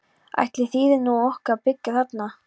Ætli þýði nú nokkuð að byggja þarna?